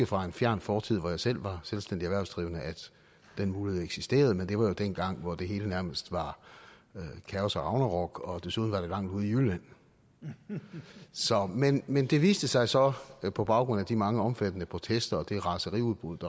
fra en fjern fortid hvor jeg selv var selvstændig erhvervsdrivende at den mulighed eksisterede men det var jo dengang hvor det hele nærmest var kaos og ragnarok og desuden var det langt ude i jylland men men det viste sig så på baggrund af de mange omfattende protester og det raseriudbrud